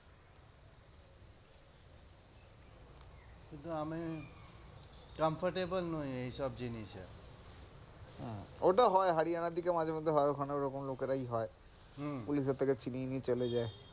কিন্তু আমি comfortable নয় এসব জিনিস হম ওটা হয় হরিয়ানার দিকে মাঝেমধ্যে হয় ওখানে ওরকম লোকেরাই হয় পুলিশের থেকে ছিনিয়ে নিয়ে চলে যায়,